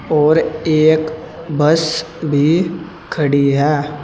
और एक बस भी खड़ी है।